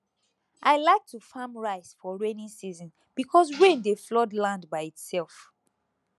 i like to farm rice for rainy season because rain dey flood land by itself